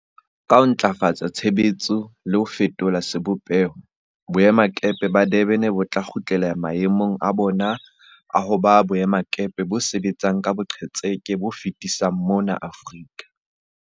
Ka ho ntlafatsa tshebetso le ho fetola sebopeho, boemakepe ba Durban bo tla kgutlela mae mong a bona a ho ba boemakepe bo sebetsang ka boqetseke bo fetisisang mona Aforika.